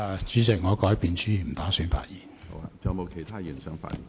主席，我改變主意，不打算發言。